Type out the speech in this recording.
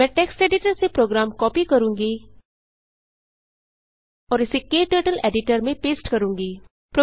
मैं text editor से program copy करूँगी और इसे क्टर्टल्स एडिटर में पेस्ट करूँगी